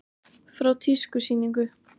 Frá tískusýningu.